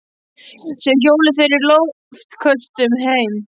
Síðan hjóluðu þeir í loftköstum heim.